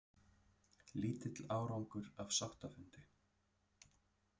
Lítill árangur af sáttafundi